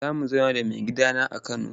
Za mu zauna da maigidana a Kano.